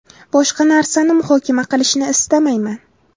Boshqa narsani muhokama qilishni istamayman.